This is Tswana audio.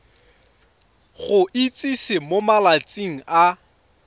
go itsise mo malatsing a